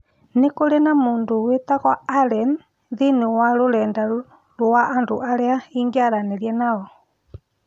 Nĩ kũrĩ na mũndũ wĩtagwo Allen thĩinĩ wa rũrenda rũa andũ arĩa ingĩaranĩria nao